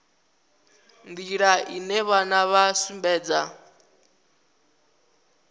nḓila ine vhana vha sumbedza